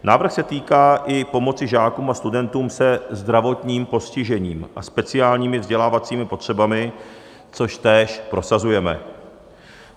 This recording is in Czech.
Návrh se týká i pomoci žákům a studentům se zdravotním postižením a speciálními vzdělávacími potřebami, což též prosazujeme.